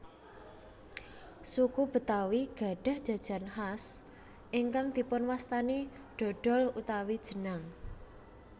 Suku Betawi gadhah jajan khas ingkang dipunwastani dhodhol utawi jenang